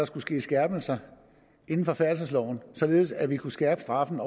skulle ske skærpelser inden for færdselsloven således at vi kunne skærpe straffen